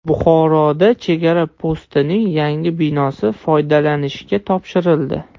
Buxoroda chegara postining yangi binosi foydalanishga topshirildi.